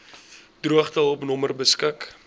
droogtehulp nommer beskik